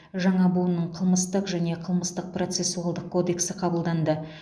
жаңа буынның қылмыстық және қылмыстық процессуалдық кодексі қабылданды